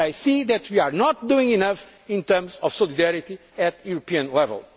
I can see that we are not doing enough in terms of solidarity at European